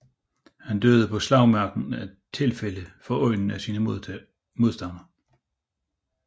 Han døde på slagmarken af et slagtilfælde for øjnene af sine modstandere